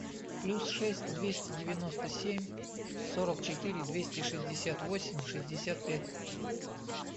плюс шесть двести девяносто семь сорок четыре двести шестьдесят восемь шестьдесят пять